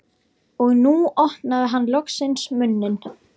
Og nú opnaði hann loksins munninn.